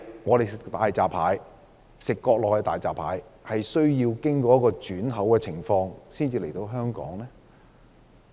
為何國內的大閘蟹需要經過轉口才可以運到香港？